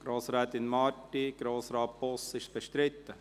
Grossrätin Marti, Grossrat Boss, ist das bestritten?